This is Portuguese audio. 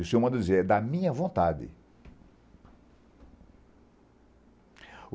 E o senhor manda eu dizer, é da minha vontade.